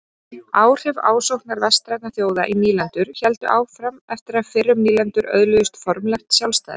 Áhrif ásóknar vestrænna þjóða í nýlendur héldu áfram eftir að fyrrum nýlendur öðluðust formlegt sjálfstæði.